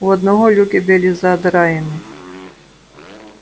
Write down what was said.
у одного люки были задраены